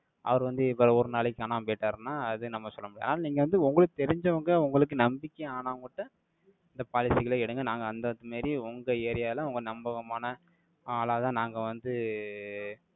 அவர் வந்து, இப்ப, ஒரு நாளைக்கு, காணாம போயிட்டாருன்னா, அது, நம்ம சொல்ல முடியாது. ஆனா, நீங்க வந்து, உங்களுக்கு தெரிஞ்சவங்க, உங்களுக்கு, நம்பிக்கையானவங்ககிட்ட, இந்த policy களை எடுங்க. நாங்க அந்த மாதிரி, உங்க area ல, உங்க நம்பகமான, ஆளாதான், நாங்க வந்து,